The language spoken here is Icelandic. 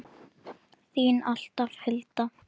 Þín alltaf, Hulda.